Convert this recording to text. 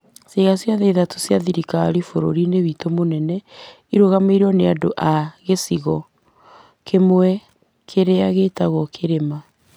ciĩga ciothe ithatũ cia thirikari bũrũriinĩ witũ mũnene ĩrũgamĩrĩirwo nĩ andũ a gĩcigo kĩmwe, kĩrĩa gĩtagwo "kĩrĩma".